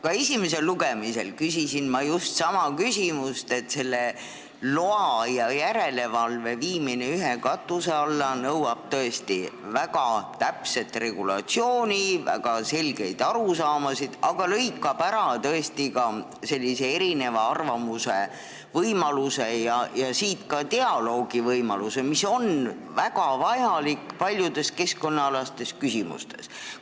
Ka esimesel lugemisel küsisin ma just sama, et lubade ja järelevalve viimine ühe katuse alla nõuab tõesti väga täpset regulatsiooni, väga selgeid arusaamasid, aga lõikab ära erinevate arvamuste võimaluse ja ka dialoogivõimaluse, mis on paljudes keskkonnaalastes küsimustes väga vajalik.